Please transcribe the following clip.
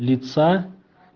лица